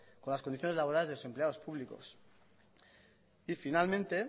con las condiciones laborales de los empleados públicos y finalmente